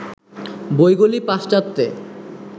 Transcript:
বইগুলি পাশ্চাত্যে